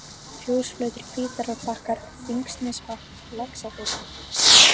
Fjósflötur, Hvítárbakkar, Þingnesvatn, Laxafit